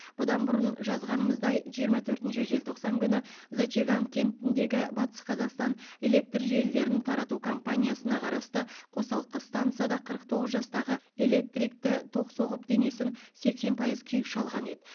бұдан бұрын жазғанымыздай жиырма төртінші желтоқсан күні зачаган кентіндегі батыс қазақстан электр желілерін тарату компаниясына қарасты қосалқы стансада қырық тоғыз жастағы электрикті ток соғып денесін сексен пайыз күйік шалған еді